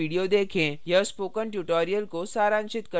यह spoken tutorial को सारांशित करता है